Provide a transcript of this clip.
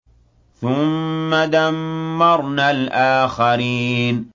ثُمَّ دَمَّرْنَا الْآخَرِينَ